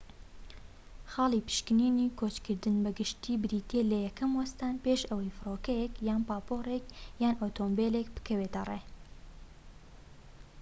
خاڵی پشکنینی کۆچکردن بە گشتی بریتیە لە یەکەم وەستان پێش ئەوەی فرۆکەیەک یان پاپۆرێك یان ئۆتۆمبیلێك بکەوێتە ڕێ